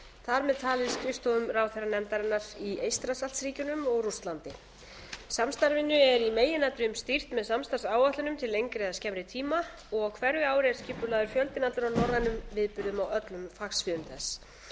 þar með talið skrifstofum ráðherranefndarinnar í eystrasaltsríkjunum og rússlandi samstarfinu er í meginatriðum stýrt með samstarfsáætlunum til lengri eða skemmri tíma og á hverju ári er skipulagður fjöldinn allur af norrænum viðburðum á öllum fagsviðum þess